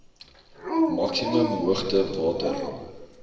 maksimum hoogte water